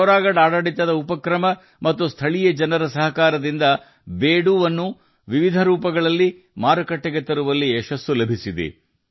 ಪಿಥೋರಗಢ ಸ್ಥಳೀಯ ಆಡಳಿತ ಸಂಸ್ಥೆಗಳು ಮತ್ತು ಸ್ಥಳೀಯ ಜನರ ಸಹಕಾರದಿಂದ ಬೀಡುವನ್ನು ವಿವಿಧ ರೂಪಗಳಲ್ಲಿ ಮಾರುಕಟ್ಟೆಗೆ ತರುವಲ್ಲಿ ಯಶಸ್ವಿಯಾಗಿದೆ